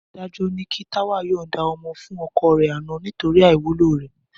Adájọ́ ni kí Táwà yọ̀nǹda ọmọ fún ọkọ rẹ̀ àná nítorí àìwúlò rẹ̀.